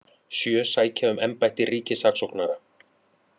Sjö sækja um embætti ríkissaksóknara